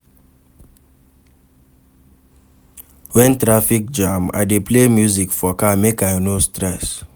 Wen traffic jam, I dey play music for car, make I no stress.